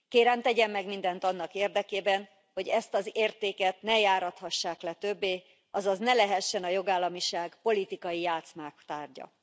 Kérem, tegyen meg mindent annak érdekében, hogy ezt az értéket ne járathassák le többé, azaz ne lehessen a jogállamiság politikai játszmák tárgya.